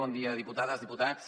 bon dia diputades diputats